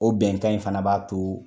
O bɛnkan in fana b'a to